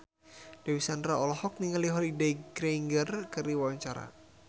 Dewi Sandra olohok ningali Holliday Grainger keur diwawancara